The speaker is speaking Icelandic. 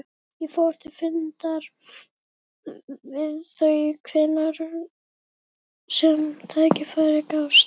Ég fór til fundar við þau hvenær sem tækifæri gafst.